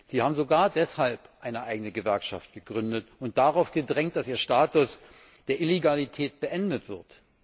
Sie haben sogar deshalb eine eigene Gewerkschaft gegründet und darauf gedrängt, dass ihr Status der Illegalität beendet wird.